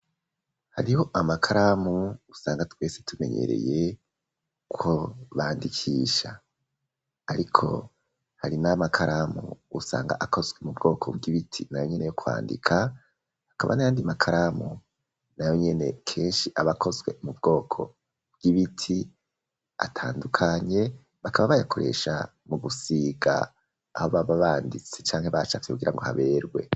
hariho amakaramu usanga twese tumenyereye ko bandikisha ariko hari n,amakaramu usanga akozwe mu bwoko bw'ibiti nayo nyene yo kwandika hakaba n,ayandi makaramu nayo nyene kenshi abakozwe mu bwoko bw'ibiti atandukanye bakaba bayakoresha mu gusiga aho baba banditse canke bacafye kugira ngo haberwe